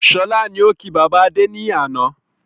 Sọlá ni ó ki bàbá Adé ni àná